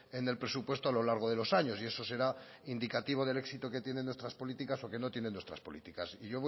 en el presupuesto a lo largo de los años y eso será indicativo del éxito que tienen nuestras políticas o que no tienen nuestras políticas yo